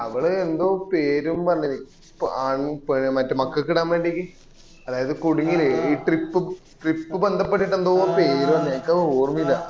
അവള് എന്തോ പേരും പറഞ്ഞിന് ആൺ മറ്റേ മക്കക്ക് ഇടാൻ വേണ്ടിയിട്ട് അതായത് കുടകിലെ trip trip ബന്ധപ്പെട്ട് എന്തോ പേരും പറഞ്ഞിന് എനിക്കത് ഓർമ്മയില്ല